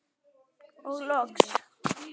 Og loks.